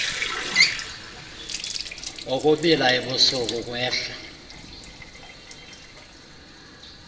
ukubila ebusuku ukwehla